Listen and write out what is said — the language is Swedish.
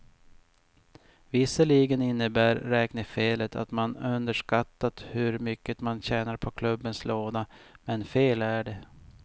Visserligen innebär räknefelet att man underskattat hur mycket man tjänar på klubbens låda, men fel är det.